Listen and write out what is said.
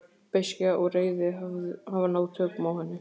Beiskja og reiði hafa náð tökum á henni.